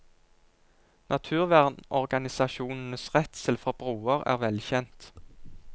Naturvernorganisasjonenes redsel for broer er velkjent.